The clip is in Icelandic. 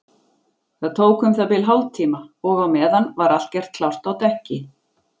Það tók um það bil hálftíma og á meðan var allt gert klárt á dekki.